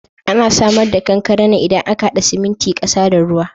Ana samar da kankare ne idan aka haɗa siminti, ƙasa da ruwa